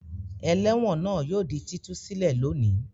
Ẹlẹ́wọ̀n náà yóò di títú sílè lónìí.